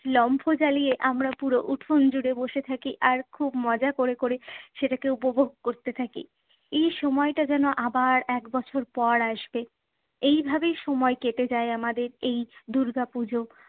লম্ফো জ্বালিয়ে আমরা পুরো উঠোন জুড়ে বসে থাকি আর খুব মজা ক'রে ক'রে সেটাকে উপভোগ করতে থাকি। এই সময়টা যেন আবার এক বছর পর আসবে। এই ভাবেই সময় কেটে যায় আমাদের, এই দুর্গাপুজো।